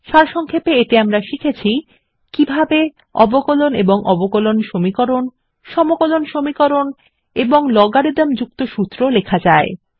সারসংক্ষেপে এতে আমরা শিখেছি কিভাবে160 অবকলন এবং অবকলন সমীকরণ সমকলন সমীকরণ এবং লগারিদম যুক্ত সূত্র লেখা যায়